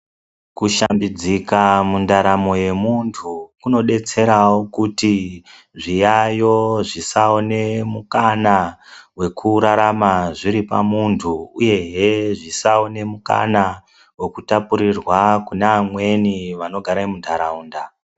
Kushambiszika mundaramo yemuntu kunodetserawo kuti zviyayo zvisaone mukana wekurarama zviri pamuntu uyehe zvisaone mukana wekutapurirwa kune amweni vanogare muntaraunda.